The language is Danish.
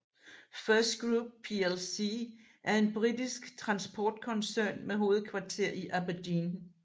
FirstGroup plc er en britisk transportkoncern med hovedkvarter i Aberdeen